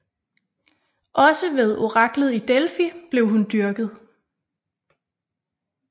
Også ved oraklet i Delfi blev hun dyrket